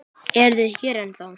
Eruð þið hérna ennþá?